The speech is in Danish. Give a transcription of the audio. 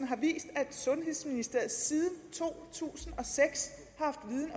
har vist at sundhedsministeriet siden to tusind og seks